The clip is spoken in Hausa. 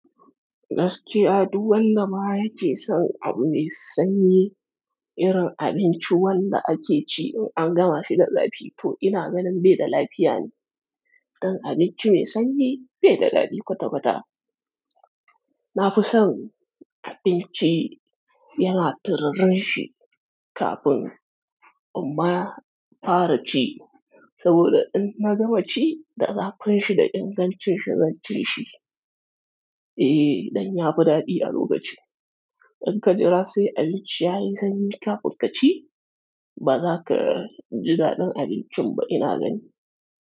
Gaskiya duk wanda baya yake son abu mai sanyi, irin abinci wanda ake ci in an gama fi da zafi to ina ganin bai da lafiya ne. Dan abinci mai sanyi bai da daɗi kwata-kwata. Nafison abinci yana tiririn shi kafin imma fara ci, saboda in na gama ci, da zafinshi da in gancin shi zanci shi. Eh, dan ya fi daɗi a lokaci. In ka jira sai abinci yayi sanyi kafin ka ci, ba za ka ji daɗin abincin ba ina ganin.